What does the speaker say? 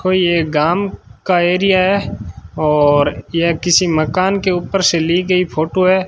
कोई एक गांव का एरिया है और यह किसी मकान के ऊपर से ली गई फोटो है।